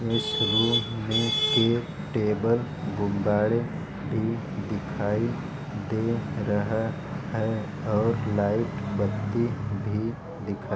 इस रूम में टेबल गुब्बारे भी दिखाई दे रहा है और लाइट बनती हुई दिखा --